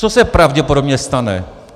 Co se pravděpodobně stane?